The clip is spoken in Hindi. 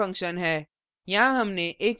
यह हमारा main function है